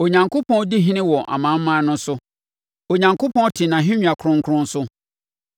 Onyankopɔn di ɔhene wɔ amanaman no so Onyankopɔn te nʼahennwa kronkron so.